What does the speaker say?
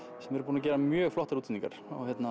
sem eru búnir að gera mjög flottar útsetningar